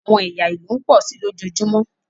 àwọn ẹya ilu ń pọ si lojoojumọ.